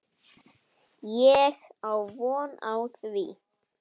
Ég á von á því.